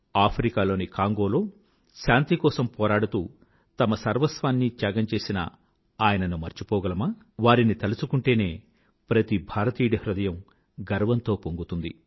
Africa లోని కాంగోలో శాంతి కోసం పోరాడుతూ తమ సర్వస్వాన్నీ త్యాగం చేసిన ఆయనను మర్చిపోగలమా వారిని తల్చుకుంటేనే ప్రతి భారతీయుడి హృదయం గర్వంతో పొంగుతుంది